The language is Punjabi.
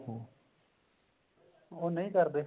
ਉਹ ਨਹੀ ਕਰਦੇ